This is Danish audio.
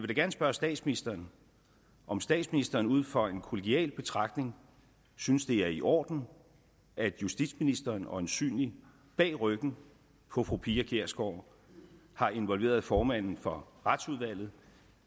da gerne spørge statsministeren om statsministeren ud fra en kollegial betragtning synes det er i orden at justitsministeren øjensynligt bag ryggen på fru pia kjærsgaard har involveret formanden for retsudvalget